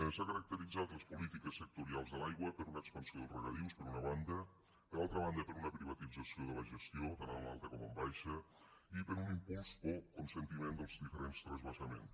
s’han caracteritzat les polítiques sectorials de l’aigua per una expansió dels regadius per una banda per altra banda per una privatització de la gestió tant en alta com en baixa i per un impuls o consentiment dels diferents transvasaments